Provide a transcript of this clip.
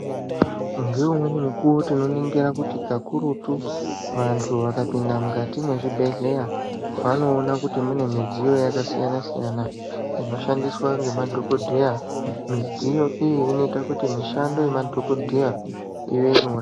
Ngeumweni muuwo tinoningira kuti kakurutu vantu vakapinda mukati mwezvibhedhleya vanoona kuti mune midziyo yakasiyana siyana inoshandiswa ngemadhokodheya midziyo iyi inoita kuti mishando yemadhokodheya ive nyore.